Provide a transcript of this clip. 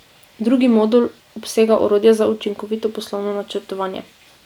Drugi modul obsega orodja za učinkovito poslovno načrtovanje.